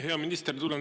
Hea minister!